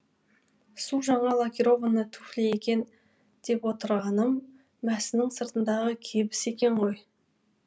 су жаңа лакированный туфли екен деп отырғаным мәсінің сыртындағы кебіс екен ғой